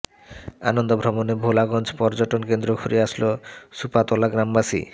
আনন্দ ভ্রমণে ভোলাগঞ্জ পর্যটন কেন্দ্র ঘুরে আসলো সুপাতলা গ্রামবাসী